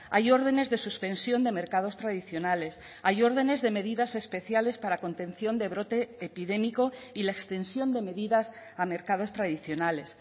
hay órdenes de suspensión de mercados tradicionales hay órdenes de medidas especiales para contención de brote epidémico y la extensión de medidas a mercados tradicionales